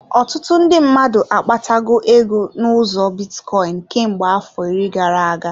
Ọtụtụ ndị mmadụ akpata go ego n'ụzọ bitcoin, kemgbe afọ iri gara-aga.